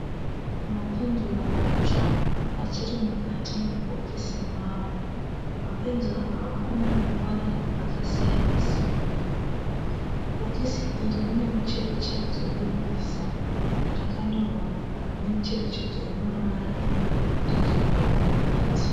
Mapenzura matsva achirimukati mebhokisi mawo. Mapenzura awa anemavara akasiyana siyana. Bhokisi iri rine mucherechedzo webhiza rakanyorwa nemucherechedzo wemavara emapenzura arimukati.